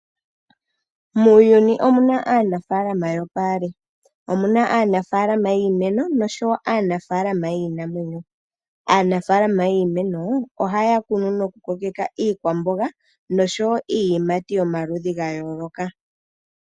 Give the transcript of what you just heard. Muuyuni omuna aanaafalama yopaali. Omuna aanafaalama yiimeno noshowo aanafaalama yiinamwenyo. Aanafaalama yiimeno ohaya kunu nokukokeka iikwamboga noshowo iiyimati ya yooloka.